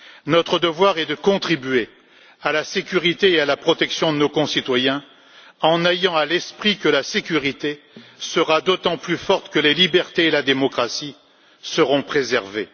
Notre devoir est de contribuer à la sécurité et à la protection de nos concitoyens, en ayant à l'esprit que la sécurité sera d'autant plus forte que les libertés et la démocratie seront préservées.